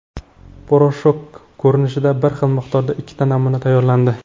Poroshok ko‘rinishida bir xil miqdorda ikkita namuna tayyorlandi.